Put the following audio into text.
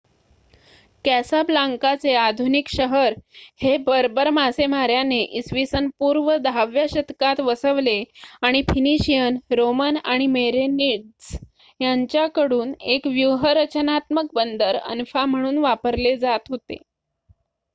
कॅसाब्लांकाचे आधुनिक शहर हे बर्बर मासेमाऱ्याने इसवीसन पूर्व 10 व्या शतकात वसवले आणि फिनिशियन रोमन आणि मेरेनीद्स यांच्याकडून एक व्यूहरचनात्मक बंदर अन्फा म्हणून वापरले जात होते